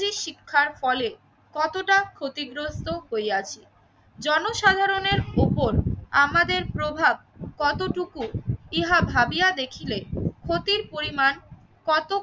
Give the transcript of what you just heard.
শিক্ষার ফলে কতটা ক্ষতিগ্রস্ত হইয়াছি। জনসাধারণের উপর আমাদের প্রভাব কতটুকু ইহা ভাবিয়া দেখিলে ক্ষতির পরিমান কতকটা